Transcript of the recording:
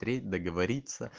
треть договориться